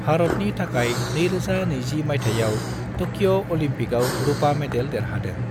भारतनि थाखाय 2020 मायथाइयाव ट'क्यि' ओलंपिकआव रुपा मेडेल देरहादों।